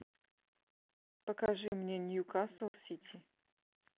покажи мне ньюкасл сити